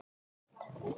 Það geri ég aldrei